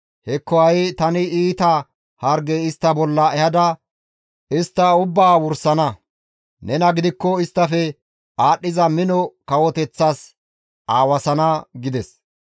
Hekko ha7i tani iita harge istta bolla ehada istta ubbaa wursana; nena gidikko isttafe aadhdhiza mino kawoteththas aawasana» gides.